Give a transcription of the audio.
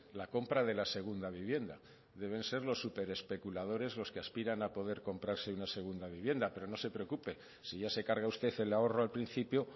la compra de la segunda vivienda deben ser los superespeculadores los que aspiran a poder comprarse una segunda vivienda pero no se preocupe si ya se carga usted el ahorro al principio